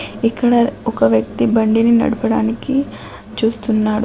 ఇక్కడ ఒక వ్యక్తి బండిని నడపడానికి చూస్తున్నాడు.